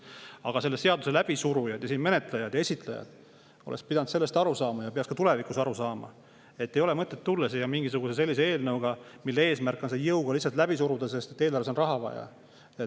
Aga selle seaduse läbisurujad, menetlejad ja esitajad oleks pidanud aru saama ja peaks ka tulevikus aru saama, et ei ole mõtet tulla siia mingisuguse sellise eelnõuga, mille eesmärk on eelarvesse raha, ja see jõuga lihtsalt läbi suruda.